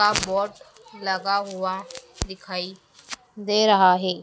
का बोट लगा हुआ दिखाई दे रहा है।